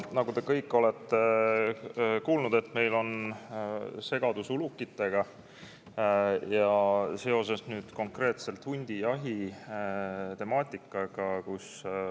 Nagu te kõik olete kuulnud, meil on segadus ulukitega, konkreetselt hundijahi temaatikaga.